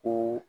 Ko